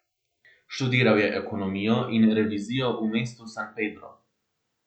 Študiral je ekonomijo in revizijo v mestu San Pedro.